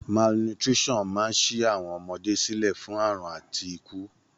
Malnutrition máa ń ṣí àwọn ọmọdé sílẹ̀ fún àrùn àti ikú.